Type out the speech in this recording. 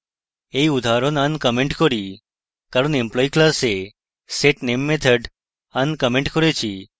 we উদাহরণ uncomment করি কারণ employee class setname method uncomment করেছি